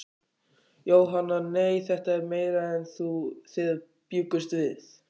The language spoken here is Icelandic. Jóhanna: Nei, þetta er meira en þið bjuggust við?